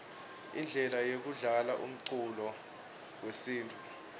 indlela yekudlala umcuco wesintfu